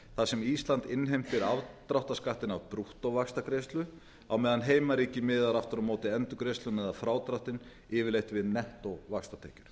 þar sem ísland innheimtir afdráttarskattinn af brúttóvaxtagreiðslu á meðan heimaríki miðar aftur á móti endurgreiðsluna eða frádráttinn yfirleitt við nettóvaxtatekjur